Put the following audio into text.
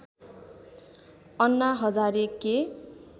अन्ना हजारे के